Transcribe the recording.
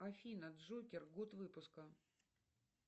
афина джокер год выпуска